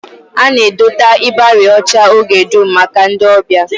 A na-edote ịbarị ọcha oge dum maka ọbịa